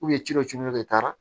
ci dɔ tun bɛ e tara